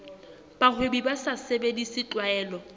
bahwebi ba sa sebedise tlwaelo